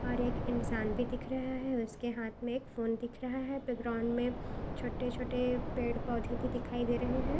और एक इंसान भी दिख रहा है उसके हाथ मे एक फोन दिख रहा है यहा पे ग्राउंड मे छोटे-छोटे पेड़ पौधे भी दिखाई दे रहे है।